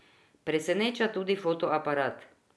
Preseneča tudi fotoaparat.